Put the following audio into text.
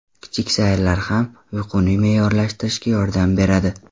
Kichik sayrlar ham uyquni me’yorlashtirishga yordam beradi.